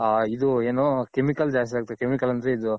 ಹಾ ಇದು ಏನು Chemical ಜಾಸ್ತಿ ಹಾಕ್ತಾರೆ Chemical ಅಂದ್ರೆ ಇದು,